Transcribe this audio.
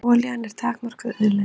Olían er takmörkuð auðlind.